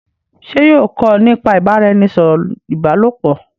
ṣe yóò kọ nípa ibaraẹnisọrọ ìbálòpọ̀?